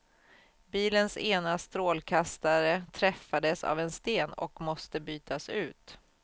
Bilens ena strålkastare träffades av en sten och måste bytas ut.